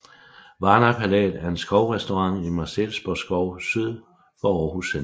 Varna Palæet er en skovrestaurant i Marselisborg Skov syd for Aarhus centrum